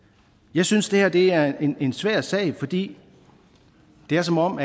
jeg synes at det her er en svær sag fordi det er som om